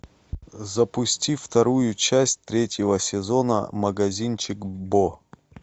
запусти вторую часть третьего сезона магазинчик бо